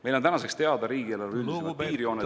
Meile on tänaseks teada riigieelarve üldised piirjooned.